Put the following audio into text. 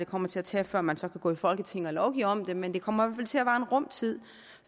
kommer til at tage før man så kan gå i folketinget og lovgive om det men det kommer til at vare en rum tid